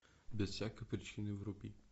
без всякой причины вруби